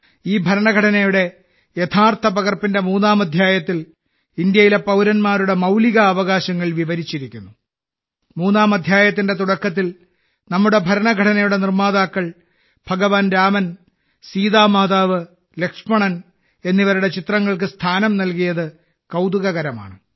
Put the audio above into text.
ഈ ഭരണഘടനയുടെ യഥാർത്ഥ പകർപ്പിന്റെ മൂന്നാം അധ്യായത്തിൽ ഇന്ത്യയിലെ പൌരന്മാരുടെ മൌലികാവകാശങ്ങൾ വിവരിച്ചിരിക്കുന്നു മൂന്നാം അധ്യായത്തിന്റെ തുടക്കത്തിൽ നമ്മുടെ ഭരണഘടനയുടെ നിർമ്മാതാക്കൾ ഭഗവാൻ രാമൻ സീതാമാതാവ് ലക്ഷ്മണൻ എന്നിവരുടെ ചിത്രങ്ങൾക്ക് സ്ഥാനം നൽകിയത് കൌതുകകരമാണ്